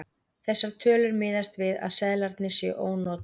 Þessar tölur miðast við að seðlarnir séu ónotaðir.